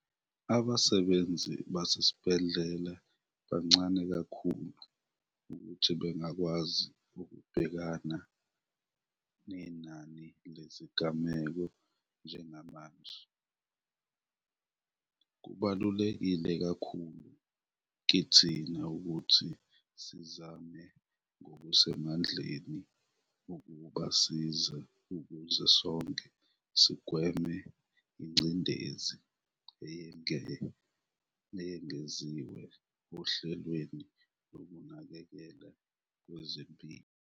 "Abasebenzi basesibhedlela bancane kakhulu ukuthi bangakwazi ukubhekana nenani lezigameko njengamanje. Kubaluleke kakhulu kithina ukuthi sizame ngokusemandleni ukubasiza ukuze sonke sigweme ingcindezi eyengeziwe ohlelweni lokunakekelwa kwezempilo".